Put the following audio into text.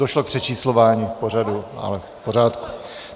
Došlo k přečíslování v pořadu, ale v pořádku.